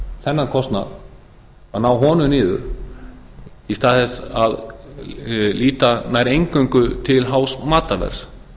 þennan kostnað að ná honum niður í stað þess að líta nær eingöngu til hás matarverðs